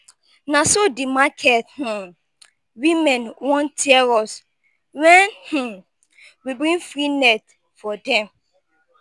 na so the market um women wan tear us wen um we bring free net for dem.